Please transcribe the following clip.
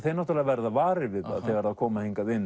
verða varir við þegar koma hingað